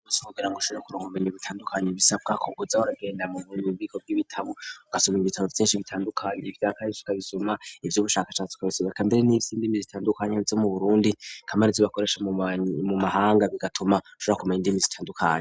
Muse bugerango ishure kurango mbeni ibitandukanye bisabwako uze uragenda mu bibiko vy'ibitabo gusuma ibitabo vyinshi bitandukanye ivyakarsikabisuma ivy'ubushakashatsi kabisoeka mbere n'ibyo indimi zitandukanya ze mu burundi kamari z'ibakoresha mu mahanga bigatuma shbra kumenya indimi zitandukanye.